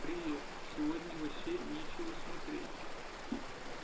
привет сегодня вообще нечего смотреть